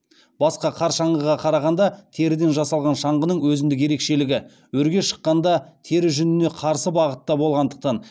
басқа қар шаңғыға қарағанда теріден жасалған шаңғының өзіндік ерекшелігі өрге шыққанда тері жүніне қарсы бағытта болғандықтан